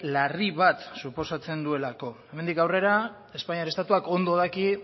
larri bat suposatzen duelako hemendik aurrer espainiar estatuak ondo daki